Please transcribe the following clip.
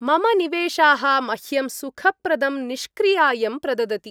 मम निवेशाः मह्यं सुखप्रदं निष्क्रियायं प्रददति।